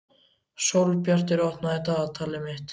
Sólbjartur, opnaðu dagatalið mitt.